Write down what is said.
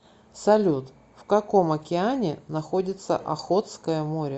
салют в каком океане находится охотское море